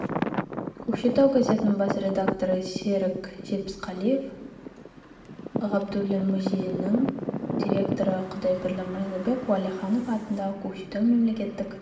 көкшетау газетінің бас редакторы серік жетпісқалиев ғабдуллин музейінің директоры құдайберлі мырзабек уәлиханов атындағы көкшетау мемлекеттік